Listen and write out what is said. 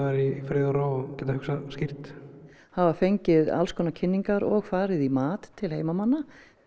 í friði og ró og geta hugsað skýrt hafa fengið alls konar kynningar og farið í mat til heimamanna